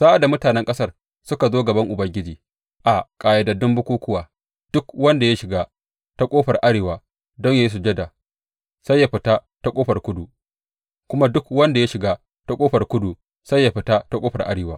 Sa’ad da mutanen ƙasar suka zo gaban Ubangiji a ƙayyadaddun bukukkuwa, duk wanda ya shiga ta ƙofar arewa don yă yi sujada sai ya fita ta ƙofar kudu; kuma duk wanda ya shiga ta ƙofar kudu sai ya fita ta ƙofar arewa.